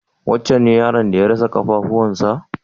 Wancen ne yaron da ya rasa ƙafafuwan sa?